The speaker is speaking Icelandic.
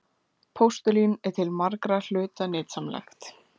Postulín er til margra hluta nytsamlegt.